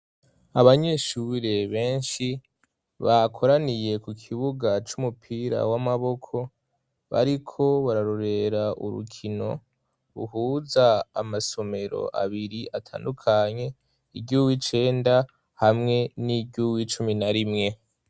Abanyeshure benshi bakoraniye ku kibuga c'umupira w'amaboko, bariko bararorera urukino ruhuza amasomero abiri atandukanye, iry'uw'icenda hamwe n'iry'uw'icumi na rimwe.